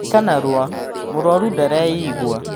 Eka narua mũrwaru ndareyigua.